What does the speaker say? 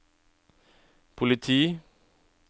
politi